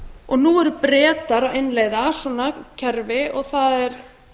og nú eru bretar að innleiða svona kerfi og það er